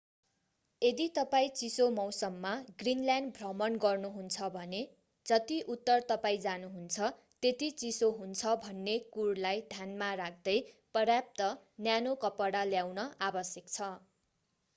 यदि तपाईं चिसो मौसममा ग्रिनल्यान्ड भ्रमण गर्नुहुन्छ भने जति उत्तर तपाईं जानुहुन्छ त्यति चिसो हुन्छ भन्ने कुरलाई ध्यानमा राख्दै पर्याप्त न्यानो कपडा ल्याउन आवश्यक छ।